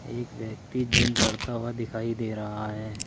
एक व्यक्ति जिम करता हुआ दिखाई दे रहा है।